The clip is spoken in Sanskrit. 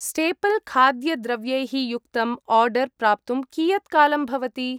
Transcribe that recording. स्टेपल् खाद्यद्रव्यैः युक्तम् आर्डर् प्राप्तुं कियत् कालं भवति?